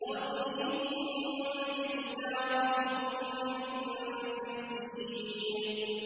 تَرْمِيهِم بِحِجَارَةٍ مِّن سِجِّيلٍ